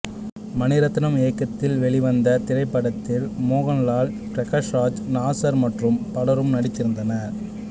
மணிரத்னம் இயக்கத்தில் வெளிவந்த இத்திரைப்படத்தில் மோகன்லால் பிரகாஷ் ராஜ் நாசர் மற்றும் பலரும் நடித்திருந்தனர்